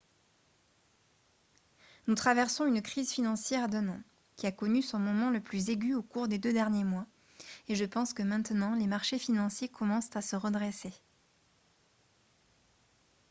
nous traversons une crise financière d'un an qui a connu son moment le plus aigu au cours des deux derniers mois et je pense que maintenant les marchés financiers commencent à se redresser. »